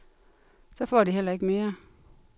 Så får de heller ikke mere.